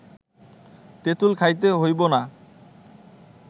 তেঁতুল খাইতে হইব না